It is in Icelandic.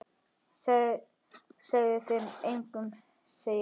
Segðu þetta engum sagði hann.